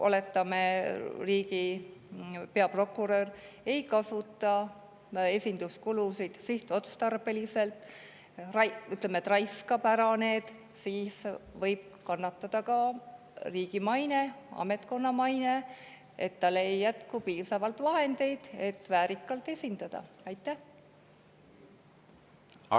Oletame, et kui riigi peaprokurör ei kasuta talle esinduskuludeks sihtotstarbeliselt, ütleme, et ta raiskab need ära ja tal ei jätku piisavalt vahendeid, et väärikalt esindada, siis võib kannatada ka riigi maine, ametkonna maine.